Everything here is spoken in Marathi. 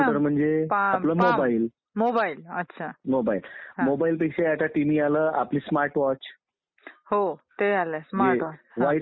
लोकांनी चालवलेलं राज्य आणि ही जगात पहिली गोष्ट आपल्या देशात झालेली आहे निवडणुकीची